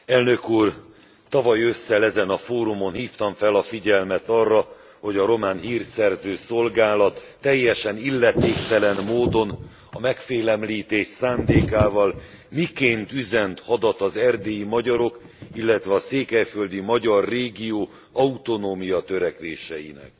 Elnök Úr, tavaly ősszel ezen a fórumon hívtam fel a figyelmet arra, hogy a román hírszerző szolgálat teljesen illetéktelen módon, a megfélemlítés szándékával miként üzent hadat az erdélyi magyarok, illetve a székelyföldi magyar régió autonómiatörekvéseinek.